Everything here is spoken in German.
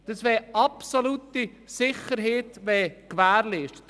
Es wäre absolute Sicherheit gewährleistet.